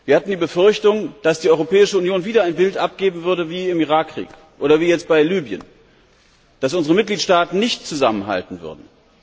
Wir hatten die Befürchtung, dass die Europäische Union wieder ein Bild abgeben würde wie im Irak Krieg oder wie jetzt bei Libyen, dass unsere Mitgliedstaaten nicht zusammenhalten würden.